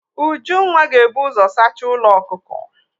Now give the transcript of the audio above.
Ujunwa ga-ebu ụzọ saacha ụlọ ọkụkọ.